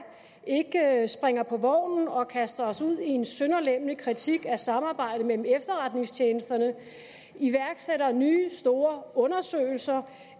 ikke springer på vognen og kaster os ud i en sønderlemmende kritik af samarbejdet mellem efterretningstjenesterne iværksætter nye store undersøgelser